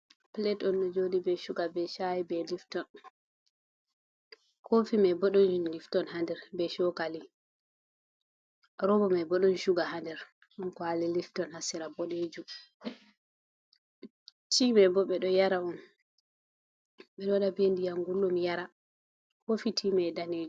Pulet on ɗo jooɗi be cuga, be caa'i, be lifton haa koofi may bo ɗon lifton haa nder, be cookali. Rooba may bo ɗon cuga haa nder ɗon kuwali lifton haa sera boɗeejum, tii may bo ɓe ɗo yara on, be ɗo waɗa be ndiyam ngulɗum yara haa koofi tii may daneejum.